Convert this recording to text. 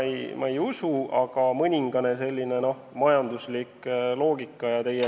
Seda ma ei usu, ehkki mõningane majanduslik loogika seal on.